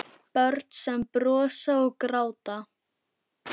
Börn sem brosa og gráta.